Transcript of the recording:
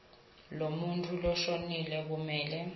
lemuntfu loshonile kumele